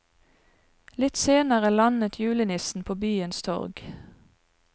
Litt senere landet julenissen på byens torg.